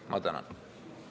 Ma tänan!